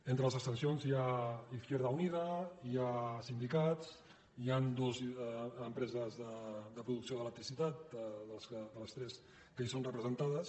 entre les abstencions hi ha izquierda unida hi ha sindicats hi han dues empreses de producció d’electricitat de les tres que hi són representades